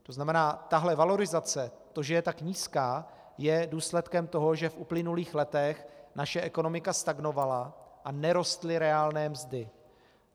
To znamená, tahle valorizace, to, že je tak nízká, je důsledkem toho, že v uplynulých letech naše ekonomika stagnovala a nerostly reálné mzdy.